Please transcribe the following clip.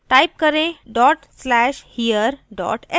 type करें dot slash here dot sh